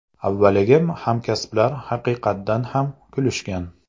Avvaliga hamkasblar haqiqatdan ham kulishgan.